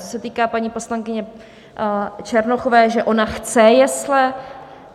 Co se týká paní poslankyně Černochové, že ona chce jesle.